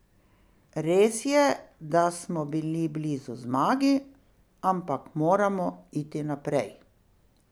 Res je, da smo bili blizu zmagi, ampak moramo iti naprej.